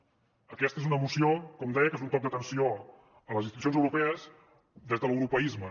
aquesta és una moció com deia que és un toc d’atenció a les institucions europees des de l’europeisme